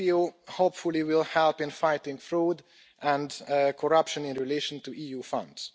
EPPO, hopefully, will help in fighting fraud and corruption in relation to EU Funds.